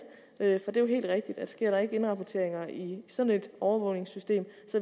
det er jo helt rigtigt at sker der ikke indrapporteringer i sådan et overvågningssystem